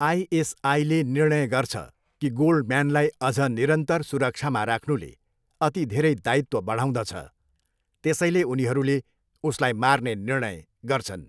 आइएसआईले निर्णय गर्छ कि गोल्डम्यानलाई अझ निरन्तर सुरक्षामा राख्नुले अति धेरै दायित्व बढाउँदछ, त्यसैले उनीहरूले उसलाई मार्ने निर्णय गर्छन्।